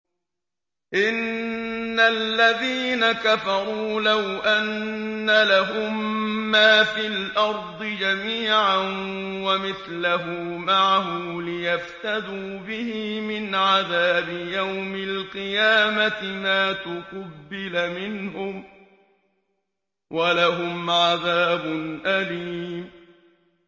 إِنَّ الَّذِينَ كَفَرُوا لَوْ أَنَّ لَهُم مَّا فِي الْأَرْضِ جَمِيعًا وَمِثْلَهُ مَعَهُ لِيَفْتَدُوا بِهِ مِنْ عَذَابِ يَوْمِ الْقِيَامَةِ مَا تُقُبِّلَ مِنْهُمْ ۖ وَلَهُمْ عَذَابٌ أَلِيمٌ